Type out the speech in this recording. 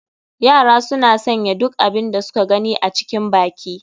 Yara suna sanya duk abin da suka gani a cikin baki.